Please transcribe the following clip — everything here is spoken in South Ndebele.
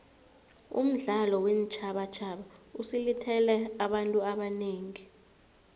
umdlalo weentjhabatjhaba usilethele abantu abanengi